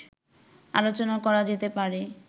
আলোচনা করা যেতে পারে